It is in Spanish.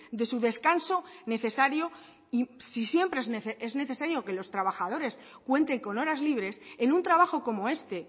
de su descanso necesario y si siempre es necesario que los trabajadores cuenten con horas libres en un trabajo como este